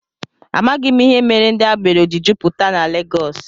Amaghị m ihe mere ndị agbero ji jupụta na Legọs